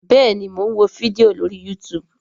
bẹẹni, Mọ n wó fídíò lórí youtube